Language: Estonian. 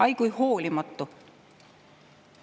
Ai, kui hoolimatu!